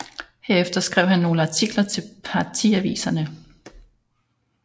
Herefter skrev han nogle få artikler til partiaviserne